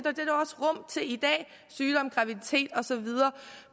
i dag sygdom graviditet og så videre